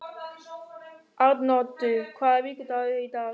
Arnoddur, hvaða vikudagur er í dag?